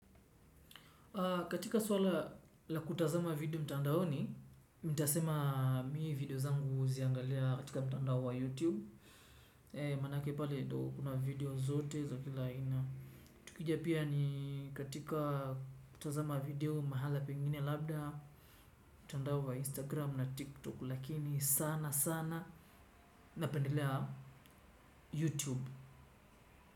Katika swala la kutazama video mtandaoni, nitasema mimi video zangu huziangalia katika mtandao wa YouTube. Manake pale ndo kuna video zote za kila aina. Tukija pia ni katika kutazama video mahala pengine labda. Mtandao wa Instagram na TikTok lakini sana sana napendelea YouTube.